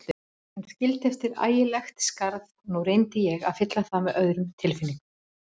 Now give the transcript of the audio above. Hann skildi eftir ægilegt skarð og nú reyndi ég að fylla það með öðrum tilfinningum.